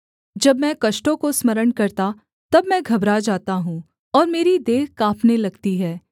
जब मैं कष्टों को स्मरण करता तब मैं घबरा जाता हूँ और मेरी देह काँपने लगती है